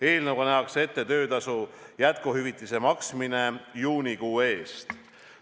Eelnõuga nähakse ette töötasu jätkuhüvitise maksmine juunikuu eest.